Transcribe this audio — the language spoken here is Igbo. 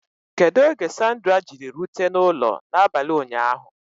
Kedu oge Sandra Jiri rute n'ụlọ n'abalị ụnyaahụ?